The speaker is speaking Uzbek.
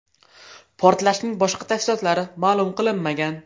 Portlashning boshqa tafsilotlari ma’lum qilinmagan.